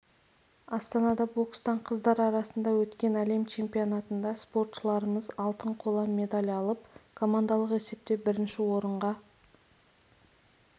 астанада бокстан қыздар арасында өткен әлем чемпионатында спортшыларымыз алтын қола медаль алып командалық есепте бірінші орынға